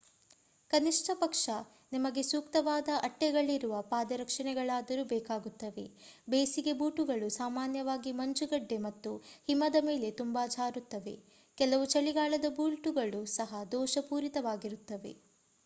ಕನಿಷ್ಠಪಕ್ಷ ನಿಮಗೆ ಸೂಕ್ತವಾದ ಅಟ್ಟೆಗಳಿರುವ ಪಾದರಕ್ಷೆಗಳಾದರೂ ಬೇಕಾಗುತ್ತವೆ ಬೇಸಿಗೆ ಬೂಟುಗಳು ಸಾಮಾನ್ಯವಾಗಿ ಮಂಜುಗಡ್ಡೆ ಮತ್ತು ಹಿಮದ ಮೇಲೆ ತುಂಬಾ ಜಾರುತ್ತವೆ ಕೆಲವು ಚಳಿಗಾಲದ ಬೂಟುಗಳು ಸಹಾ ದೋಷಪೂರಿತವಾಗಿರುತ್ತವೆ